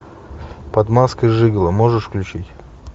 под маской жиголо можешь включить